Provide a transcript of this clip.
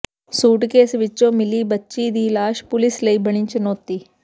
suitcase ਵਿੱਚੋਂ ਮਿਲੀ ਬੱਚੀ ਦੀ ਲਾਸ਼ ਪੁਲੀਸ ਲਈ ਬਣੀ ਚੁਣੌਤੀ